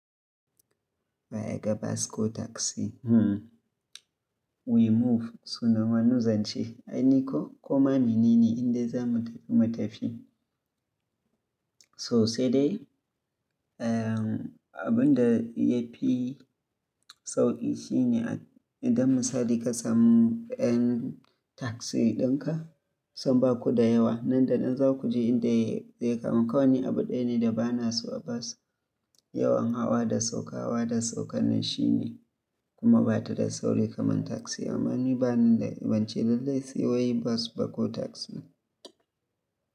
Ba yaga bas ko taxi. Hmm, we move, sunan wani zance. Ai, ni ko? Ko ma menene indai za mu tafi mu tafi. To sai dai, eh, abin da ya fi sauƙi shine idan misali ka samu ɗan taxi ɗinka, sun baku da yawa. Nan da nan za ku ji inda zai kama. Kawai ni abu ɗaya ne da ba na so a bas, yawan hawa da sauka, hawa da saukanan shine kuma ba ta da sauri kamar taxi. Amma ni ba ni da bance lallai, sai wai bas ba ko taxi ne.